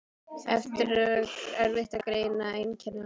Erfitt er að greina einkenni eins